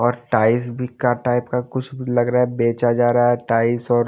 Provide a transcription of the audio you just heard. और टाइस भी का टाइप का कुछ लग रहा है बेचा जा रहा है टाइस और --